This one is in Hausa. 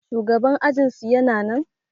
shugaban ajinsu yana nan?